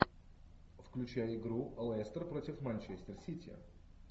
включай игру лестер против манчестер сити